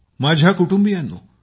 माझ्या कुटुंबियांनो